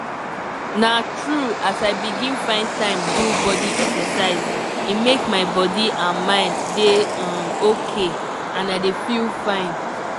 na true as i begin find time do body exercise e make my body and mind dey um ok and i dey feel fine.